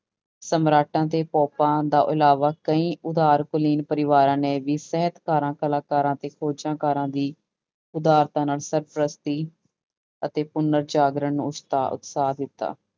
ਸਮਰਾਟਾਂ ਤੇ ਤੋਂ ਇਲਾਵਾ ਕਈ ਉਧਾਰ ਕੁਲੀਨ ਪਰਿਵਾਰਾਂ ਨੇ ਵੀ ਸਾਹਿਤਕਾਰਾਂ ਕਲਾਕਾਰਾਂ ਤੇ ਖੋਜਾਂਕਾਰਾਂ ਦੀ ਉਧਾਰਤਾ ਨਾਲ ਸਰਪ੍ਰਸਤੀ ਅਤੇ ਪੁੁਨਰ ਜਾਗਰਣ ਨੂੰ ਉਸਤਾ ਉਤਸਾਹ ਦਿੱਤਾ।